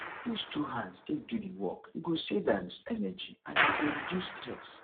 use two hands take do the work e go save um energy and e go reduce stress